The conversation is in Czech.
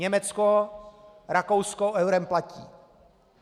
Německo, Rakousko eurem platí.